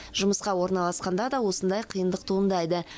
жұмысқа орналасқанда да осындай қиындық туындайды